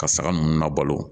Ka saga ninnu labalo